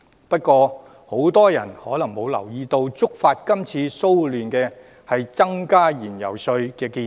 不過，很多人可能沒有留意，觸發今次騷亂的原因，是增加燃油稅的建議。